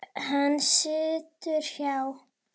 Hann situr hjá